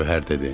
Gövhər dedi.